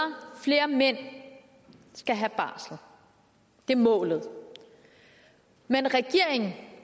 flere mænd skal have barsel det er målet men regeringen